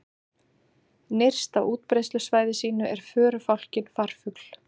Nyrst á útbreiðslusvæði sínu er förufálkinn farfugl.